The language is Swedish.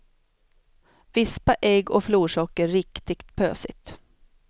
Vispa ägg och florsocker riktigt pösigt.